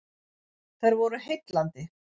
Þær voru heillandi.